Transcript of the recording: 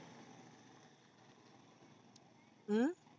अं